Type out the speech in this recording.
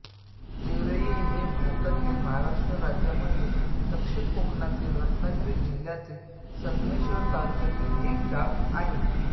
तेरये हे भारतातील महाराष्ट्र राज्यातील दक्षिण कोकणातील रत्नागिरी जिल्ह्यातील संगमेश्वर तालुक्यातील एक गाव आहे